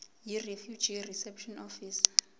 yirefugee reception office